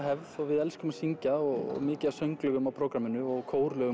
og við elskum að syngja og mikið af sönglögum á prógramminu og